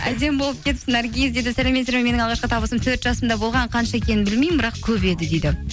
әдемі болып кетіпсің наргиз дейді сәлеметсіздар ме менің алғашқы табысым төрт жасымда болған қанша екенін білмеймін бірақ көп еді дейді